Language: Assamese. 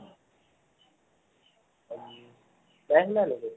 অম নাই শুনা নেকি ?